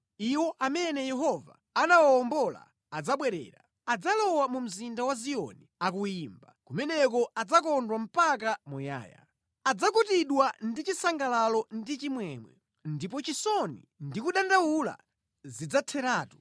Iwo amene Yehova anawawombola adzabwerera. Adzalowa mu mzinda wa Ziyoni akuyimba; kumeneko adzakondwa mpaka muyaya. Adzakutidwa ndi chisangalalo ndi chimwemwe, ndipo chisoni ndi kudandaula zidzatheratu.